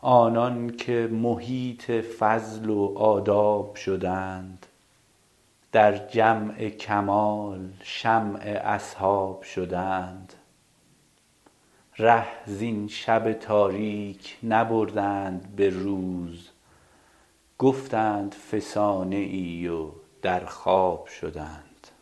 آنان که محیط فضل و آداب شدند در جمع کمال شمع اصحاب شدند ره زین شب تاریک نبردند به روز گفتند فسانه ای و در خواب شدند